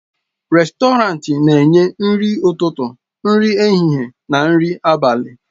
Rèstọrantị na-enye nri ụtụtụ, nri ehihie na nri abalị.